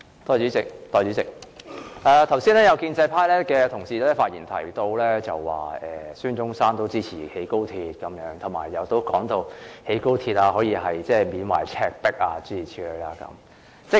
代理主席，剛才有建制派同事在發言中提到，孫中山也支持興建高鐵，又說興建高鐵可讓大家緬懷赤壁的歷史，諸如此類。